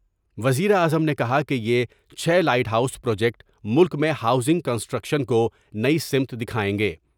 وزیراعظم نے کہا کہ یہ چھ لائٹ ہاؤس پروجیکٹ ملک میں ہاؤزنگ کنسٹریکشن کو نئی سمت دکھائیں گے ۔